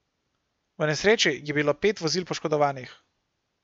V nesreči je bilo pet vozil poškodovanih.